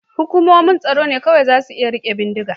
Hukumomin tsaro ne kawai za su iya rike bindiga.